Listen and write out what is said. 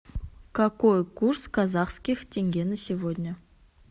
какой курс казахских тенге на сегодня